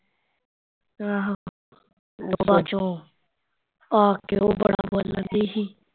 ਆਹੋ ਬਾਦ ਚੋਂ ਆ ਕੇ ਉਹ ਬੜਾ ਬੋਲਣ ਡਈ ਸੀ